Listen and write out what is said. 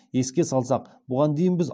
еске салсақ бұған дейін біз